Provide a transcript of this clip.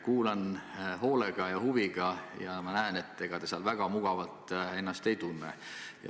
Kuulan hoolega ja huviga ning ma näen, et ega te seal väga mugavalt ennast ei tunne.